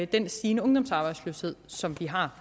den stigende ungdomsarbejdsløshed som vi har